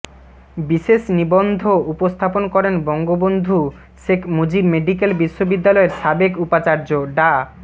বিশেষ নিবন্ধ উপস্থাপন করেন বঙ্গবন্ধু শেখ মুজিব মেডিক্যাল বিশ্ববিদ্যালয়ের সাবেক উপাচার্য ডা